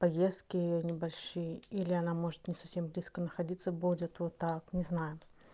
поездки небольшие или она может не совсем близко находиться будет вот так не знаю